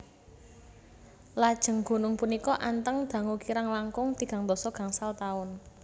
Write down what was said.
Lajeng gunung punika anteng dangu kirang langkung tigang dasa gangsal taun